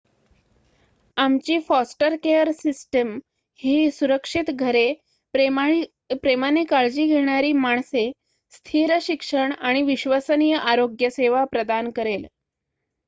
आमची foster care system ही सुरक्षित घरे प्रेमाने काळजी घेणारी माणसे स्थिर शिक्षण आणि विश्वसनीय आरोग्य सेवा प्रदान करेल